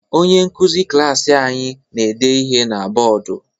Onye nkuzi klaasị anyi na-ede ihe na bọdụ.